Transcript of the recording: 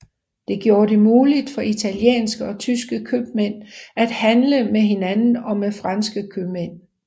Det gjorde det muligt for italienske og tyske købmænd at handle med hinanden og med franske købmænd